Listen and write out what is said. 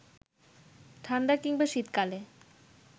ঠাণ্ডা কিংবা শীতকালে